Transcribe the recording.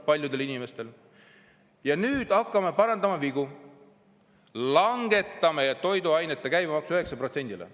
Ja nüüd hakkame parandama vigu, langetame toiduainete käibemaksu 9%‑le.